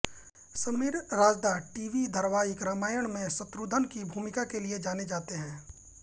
Sameer Rajda TV धारावाहिक रामायण में शत्रुघ्न की भूूमिका के लिये जाने जातेे हैं